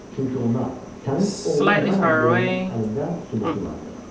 Çünki ona “Sənin oğlun mənəm” deyənin əlində sübutu vardı.